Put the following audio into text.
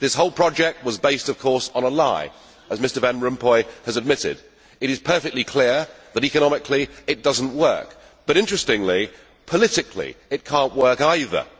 This whole project was based, of course, on a lie, as Mr Van Rompuy has admitted. It is perfectly clear that, economically, it does not work but, interestingly, politically it cannot work either.